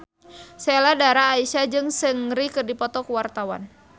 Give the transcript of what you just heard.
Sheila Dara Aisha jeung Seungri keur dipoto ku wartawan